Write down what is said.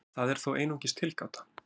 Það er þó einungis tilgáta.